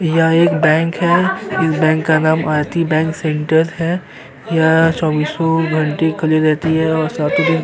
यह एक बैंक है। इस बैंक का नाम आरती बैंक सेंटर है। यह चोबीसों घंटे खुली रहती है और साथ ही --